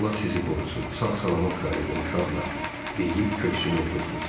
Allah sizi qorusun, sağ-salamat qayıdın uşaqlar deyib köksünü ötürdü.